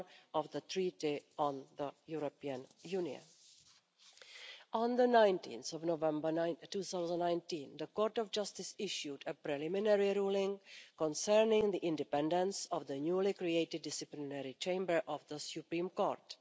of the Treaty on the European Union. On 19 November 2019, the Court of Justice issued a preliminary ruling concerning the independence of the newly created disciplinary chamber of the Supreme Court.